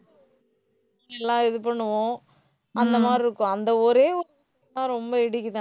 எல்லாம் இது பண்ணுவோம். அந்த மாதிரி இருக்கும். அந்த ஒரே ரொம்ப இடிக்குது எனக்கு